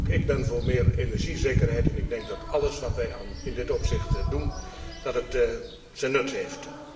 Ook ik ben voor meer energiezekerheid en ik denk dat alles wat wij in dit opzicht doen, zijn nut heeft.